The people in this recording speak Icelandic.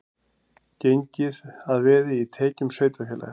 Gengið að veði í tekjum sveitarfélags